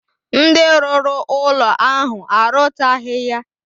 Ndi ruru ulo ahu arutaghi ya.